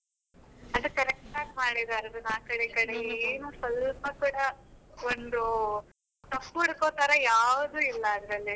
ಅದು correct ಆಗಿ ಮಾಡಿದ್ದಾರೆ ಅದನ್ನು ಆ ಕಡೆ ಈ ಕಡೆ ಏನು ಸ್ವಲ್ಪ ಕೂಡ, ಒಂದು ತಪ್ಪು ಹುಡುಕುವ ತರ ಯಾವುದು ಇಲ್ಲ ಅದರಲ್ಲಿ.